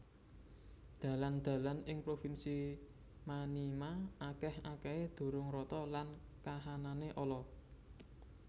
Dalan dalan ing provinsi Maniema akèh akèhé durung rata lan kahanané ala